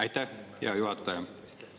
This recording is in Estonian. Aitäh, hea juhataja!